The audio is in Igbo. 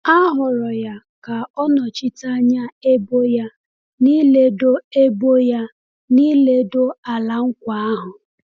A họọrọ ya ka ọ nọchite anya ebo ya n’ịledo ebo ya n’ịledo Ala Nkwa ahụ.